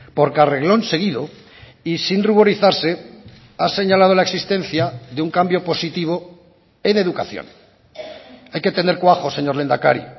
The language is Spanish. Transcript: porque a reglón seguido y sin ruborizarse ha señalado la existencia de un cambio positivo en educación hay que tener cuajo señor lehendakari